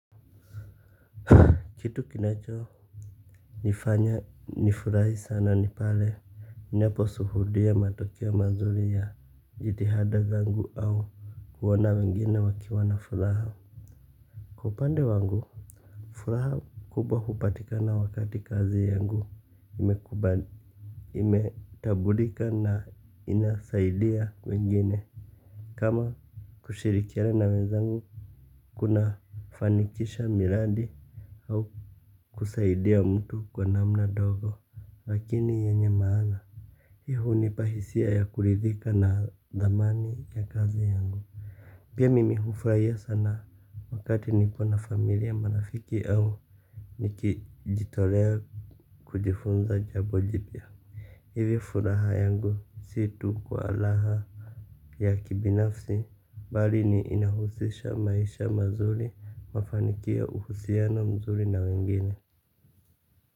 Kitu kinachonifanya nifurahi sana ni pale ninahapo suhudia matokeo mazuri ya jitihada zangu au kuona wengine wakiwa na furaha. Hupande wangu, furaha kubwa hupatikana wakati kazi yangu imekuba imetabulika na inasaidia wengine. Kama kushirikiana wenzangu, kunafanikisha miradi au kusaidia mtu kwa namna dogo. Lakini yenye maana hii hunipa hisia ya kuridhika na dhamani ya kazi yangu pia mimi hufraia sana. Wakati nikona familia marafiki au nikijitolea kujifunza jabo jipya hivi furaha yangu si tu kwa laha ya kibinafsi bali ni inahusisha maisha mazuri mafanikio uhusiano mzuri na wengine.